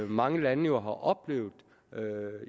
mange lande jo har oplevet